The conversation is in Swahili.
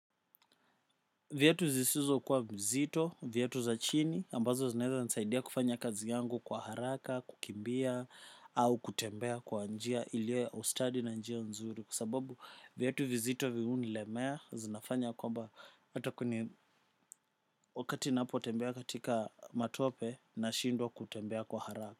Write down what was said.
Viatu zisizo kuwa mzito, viatu za chini, ambazo zinaweza nisaidia kufanya kazi yangu kwa haraka, kukimbia, au kutembea kwa njia, ilio ya ustadi na njia nzuri. Sababu viatu vizito vihuni lemea, zinafanya kwamba hata kuni wakati napo tembea katika matope na shindwa kutembea kwa haraka.